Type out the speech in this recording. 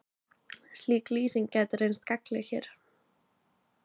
Slík lýsing gæti reynst gagnleg hér.